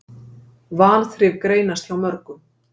Vanþrif greinast hjá mörgum.